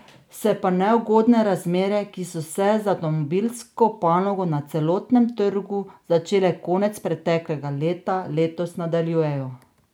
Se pa neugodne razmere, ki so se za avtomobilsko panogo na celotnem trgu začele konec preteklega leta, letos nadaljujejo.